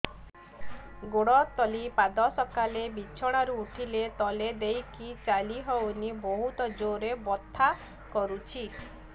ଗୋଡ ତଳି ପାଦ ସକାଳେ ବିଛଣା ରୁ ଉଠିଲେ ତଳେ ଦେଇକି ଚାଲିହଉନି ବହୁତ ଜୋର ରେ ବଥା କରୁଛି